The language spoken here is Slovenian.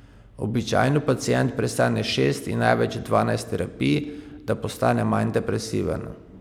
Običajno pacient prestane šest in največ dvanajst terapij, da postane manj depresiven.